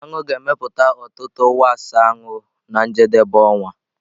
Aṅụ ga-emepụta ọtụtụ wax anụ na njedebe ọnwa.